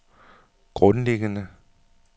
grundlæggende